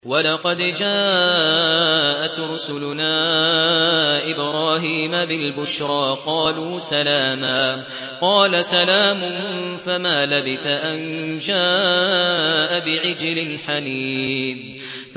وَلَقَدْ جَاءَتْ رُسُلُنَا إِبْرَاهِيمَ بِالْبُشْرَىٰ قَالُوا سَلَامًا ۖ قَالَ سَلَامٌ ۖ فَمَا لَبِثَ أَن جَاءَ بِعِجْلٍ حَنِيذٍ